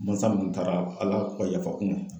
Mansa minnu taara Ala ka yafa k'u ma